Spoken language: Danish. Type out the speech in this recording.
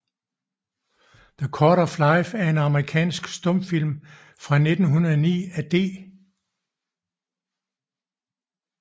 The Cord of Life er en amerikansk stumfilm fra 1909 af D